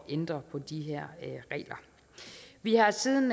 ændre på de her regler vi har siden